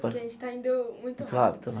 Porque a gente está indo muito rápido Pode tá bom